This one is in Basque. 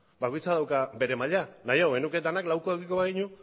bakoitzak dauka bere maila nahiago genuke denok laukoa edukiko